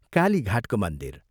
कालीघाटको मन्दिर।